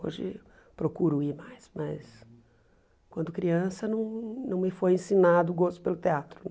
Hoje procuro ir mais, mas quando criança não não me foi ensinado o gosto pelo teatro, não.